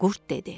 Qurd dedi: